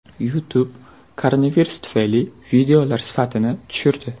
YouTube koronavirus tufayli videolar sifatini tushirdi.